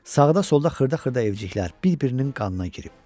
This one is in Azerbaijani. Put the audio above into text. Sağda-solda xırda-xırda evciklər bir-birinin qanına girib.